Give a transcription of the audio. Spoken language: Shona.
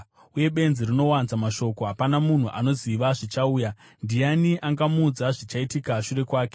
Uye benzi rinowanza mashoko. Hapana munhu anoziva zvichauya, ndiani angamuudza zvichaitika shure kwake?